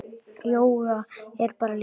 Jóga er bara lífið.